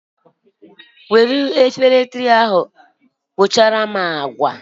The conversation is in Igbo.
Jiri Efere obosara ahu tuchara m agwa